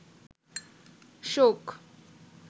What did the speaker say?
শোক